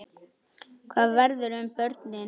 Hvað verður um börnin?